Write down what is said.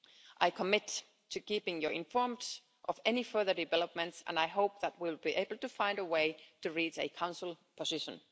I commit to keeping you informed of any further developments and I hope that we'll be able to find a way to reach a Council position.